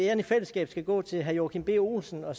æren i fællesskab skal gå til herre joachim b olsen og